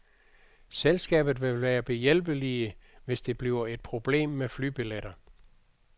Selskabet vil være behjælpelige, hvis det bliver et problem med flybilleter.